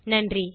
நன்றி